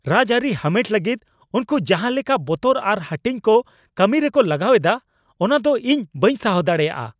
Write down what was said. ᱨᱟᱡᱽᱟᱹᱨᱤ ᱦᱟᱢᱮᱴ ᱞᱟᱹᱜᱤᱫ ᱩᱱᱠᱩ ᱡᱟᱦᱟᱸᱞᱮᱠᱟ ᱵᱚᱛᱚᱨ ᱟᱨ ᱦᱟᱹᱴᱤᱧ ᱠᱚ ᱠᱟᱹᱢᱤᱨᱮᱠᱚ ᱞᱟᱜᱟᱣ ᱮᱫᱟ ᱚᱱᱟᱫᱚ ᱤᱧ ᱵᱟᱹᱧ ᱥᱟᱦᱟᱣ ᱫᱟᱲᱮᱭᱟᱜᱼᱟ ᱾